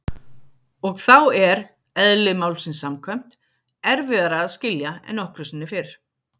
Og þá er- eðli málsins samkvæmt- erfiðara að skilja en nokkru sinni fyrr.